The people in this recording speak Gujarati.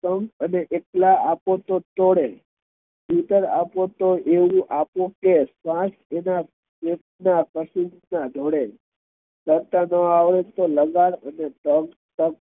અને એકલાં આપો તો તોડે અને એવું આપો તો શ્વાસ એના તરતા ના આવડે તો લગાડ અને સહન કર